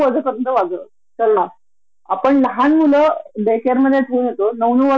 ते जे human right म्हणतो की एम्प्लॉयी साठी असतात आणि काही फक्त सगळ्यांसाठी असतात